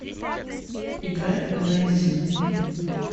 играй неззи